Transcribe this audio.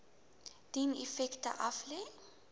dien effekte aflê